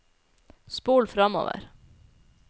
spol framover